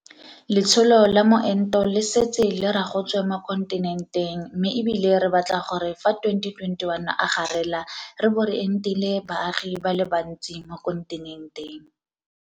Letsholo la moento le setse le ragotswe mo kontinenteng mme e bile re batla gore fa 2021 a garela re bo re entile baagi ba le bantsi mo kontinenteng.